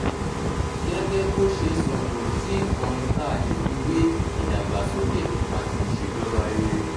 gẹ́gẹ́ bó ṣe sọ̀kò sí nǹkan tá a lè fi wé ìdàgbàsókè àti ìṣèjọba rere